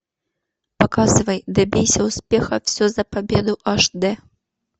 показывай добейся успеха все за победу аш д